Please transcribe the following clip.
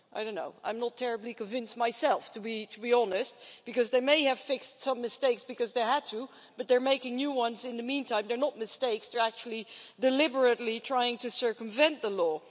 I don't know, I'm not terribly convinced myself, to be honest, because they may have fixed some mistakes because they had to, but they're making new ones in the meantime they're not mistakes, they're actually deliberately trying to circumvent the law.